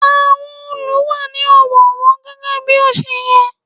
Àwọn òòlù wà ní ọ̀wọ̀ọ̀wọ́ gẹ́gẹ́ bí ó ṣe yẹ.